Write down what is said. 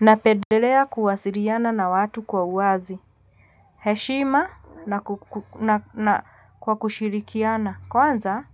Napendelea kuwasiliana na watu kwa uwazi, heshima na kwa kushirikiana, kwanza